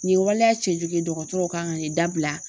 Nin waleya cɛjugu dɔgɔtɔrɔw kan ka nin dabila